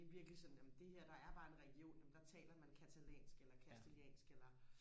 det er virkelig sådan amen det her der er bare en region nå men der taler man catalansk eller casteliansk eller